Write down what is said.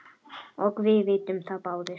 og við vitum það báðir.